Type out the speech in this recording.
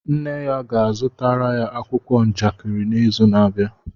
Nne ya ga-azụtara ya akwụkwọ njakịrị n'izu na-abịa